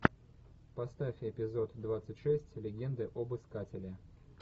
поставь эпизод двадцать шесть легенды об искателе